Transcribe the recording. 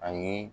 Ani